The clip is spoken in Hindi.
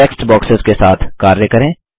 टेक्स्ट बॉक्सेस के साथ कार्य करें